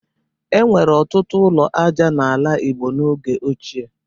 E nwere ọtụtụ ụlọ aja n'ala Igbo n'oge ochie.